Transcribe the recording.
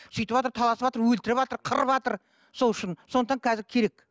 сөйтіватыр таласыватыр өлтірватыр қырыватыр сол үшін сондықтан қазір керек